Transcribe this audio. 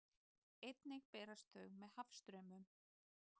Einnig berast þau með hafstraumum.